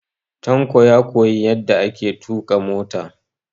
Tanko ya koyi yadda ake tuƙa mota.